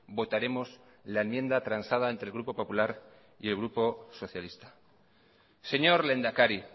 votaremos la enmienda transada entre el grupo popular y el grupo socialista señor lehendakari